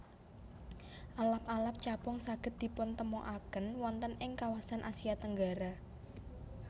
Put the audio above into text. Alap alap capung saged dipuntemokaken wonten ing kawasan Asia Tenggara